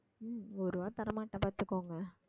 உம் ஒரு ரூபாய் தரமாட்டேன் பார்த்துக்கோங்க